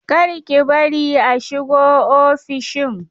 Kar ki bari a shigo ofishin!